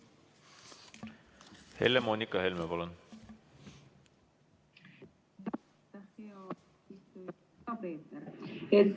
Helle-Moonika Helme, palun!